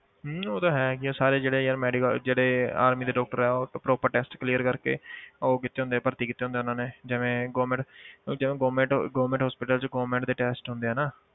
ਹਮ ਉਹ ਤਾਂ ਹੈ ਕਿ ਸਾਰੇ ਜਿਹੜੇ ਯਾਰ medical ਜਿਹੜੇ army ਦੇ doctor ਹੈ ਉਹ proper test clear ਕਰਕੇ ਉਹ ਕੀਤੇ ਹੁੰਦੇ ਭਰਤੀ ਕੀਤੇ ਹੁੰਦੇ ਆ ਉਹਨਾਂ ਨੇ ਜਿਵੇਂ government ਜਿਵੇਂ government government hospital 'ਚ government ਦੇ test ਹੁੰਦੇ ਆ ਨਾ